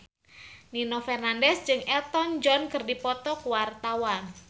Nino Fernandez jeung Elton John keur dipoto ku wartawan